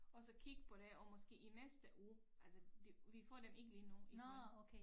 Og så kigge på det og måske i næste uge altså de vi får dem ikke lige nu iggå